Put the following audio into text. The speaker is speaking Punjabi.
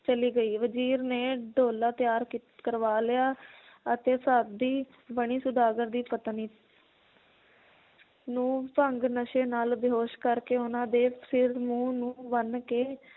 ਚਲੀ ਗਈ ਵਜ਼ੀਰ ਨੇ ਡੋਲਾ ਤਿਆਰ ਕੀ~ ਕਰਵਾ ਲਿਆ ਅਤੇ ਬਣੀ ਸੌਦਾਗਰ ਦੀ ਪਤਨੀ ਨੂੰ ਭੰਗ ਨਸ਼ੇ ਨਾਲ ਬੇਹੋਸ਼ ਕਰਕੇ ਉਹਨਾਂ ਦੇ ਸਿਰ ਮੂੰਹ ਨੂੰ ਬੰਨ ਕੇ